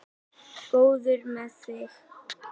Góður með þig.